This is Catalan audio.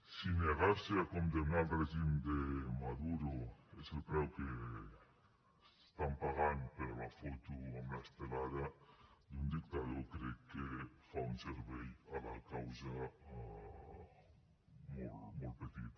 si negar se a condemnar el règim de maduro és el preu que estan pagant per la foto amb l’estelada d’un dictador crec que fa un servei a la causa molt petit